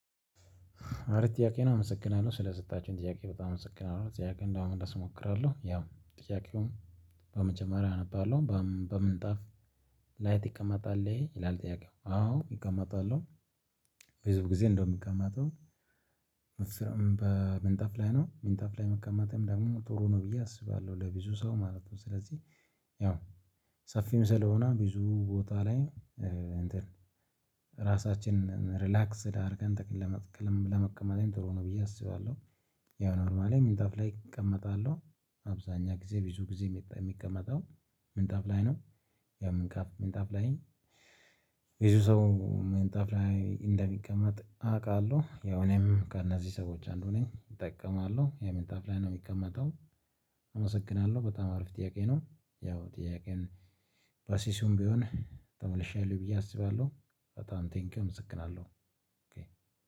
አሪፍ ጥያቄ ነው አመሰግናለሁ ስለሰጣችሁኝ ጥያቄ በጣም አመሰግናለሁ ጥያቄውን ለመመለስ እሞክራለሁ። ያው ጥያቄውም በመጀመሪያ አነባለሁ በምንጣፍ ላይ ትቀመጣል ይላል ጥያቄው አዎ እቀመጣለሁ። ብዙ ጊዜ እንደውም የሚቀመጠው በምንጠፍ ላይ ነው ምንጠፍ ላይ መቀመጥም ደግሞ ጥሩ ነው ብዬ አስባለሁ ለብዙ ሰው ማለት ነው። ስለዚህ ያው ሰፊም ስለሆነ ብዙ ቦታ ላይ እንትን ራሳችንን ሪላክስ ስላደረገን ጥቅል ለመቀመጤም ጥሩ ነው ብዬ አስባለሁ። ያው ኖርማሊ ምንጣፍ ላይ እቀመጣለሁ። አብዛኛ ጊዜ ብዙ ጊዜ የሚቀመጠው ምንጣፍ ላይ ነው። ያምንካፍ ምንጣፍ ላይ ብዙ ሰው ምንጣፍ ላይ እንደሚቀመጥ አውቃለሁ። ያው እኔም ከእነዚህ ሰዎች አንዱ ነኝ እጠቀማለሁ የምንጣፍ ላይ ነው የሚቀመጠው። አመሰግናለሁ በጣም አሪፍ ጥያቄ ነው። ያው ጥያቄን በሲሲውም ቢሆን ተመልሼ አይደለሁ ብዬ አስባለሁ በጣም ቴንኪውም እመሰግናለሁ።